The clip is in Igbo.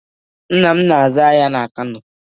Nna m na-azụ ahịa n'Kano